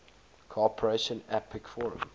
cooperation apec forum